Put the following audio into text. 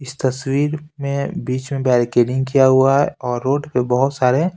इस तस्वीर में बीच में बैरकेडिंग किया हुआ है और रोड पे बहुत सारे --